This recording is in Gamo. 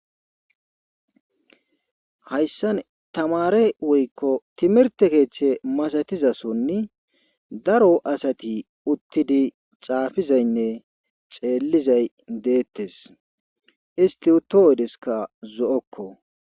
Hayssan tamare woykko timirtte keeththa masatiza sooni daro asati uttidi xaafizaynne xeelizay deetees isti uto oyeskka zo'okko.